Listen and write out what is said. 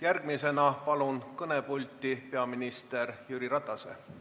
Järgmisena palun kõnepulti peaminister Jüri Ratase.